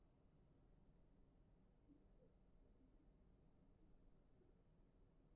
en spurt er um tegundir eða gerðir af þróunarkenningum